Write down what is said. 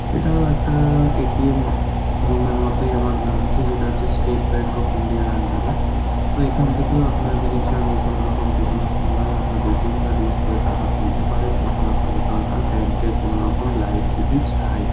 এটাও একটা ATM. Room -এর মতোই আমার লাগছে যেটা হচ্ছে স্টেট ব্যাঙ্ক অফ ইন্ডিয়া -র আন্ডার -এ | সো এখান থেকেও আপনারা যদি চান কোনো রকম যে কোন সময় আপনাদের এ.টি.এম কার্ড ইউজ করে টাকা তুলতে পারেন যখন আপনাদের দরকার ব্যাঙ্ক -এর কোন লাইন বিধি ছাড়াই ।